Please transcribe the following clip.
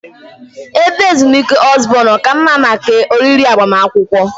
Ebe ezumike Osborn ọ ka mma maka oriri agbamakwụkwọ?